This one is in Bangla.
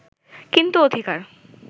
কিন্তু অধিকার